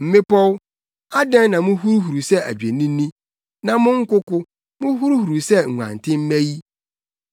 Mmepɔw, adɛn, na muhuruhuruw sɛ adwennini, na mo nkoko, muhuruhuruw sɛ nguantenmma yi?